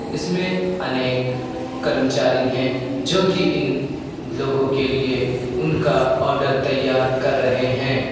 इसमें अनेक कर्मचारी हैं जो कि इन लोगों के लिए उनका ऑर्डर तैयार कर रहे हैं।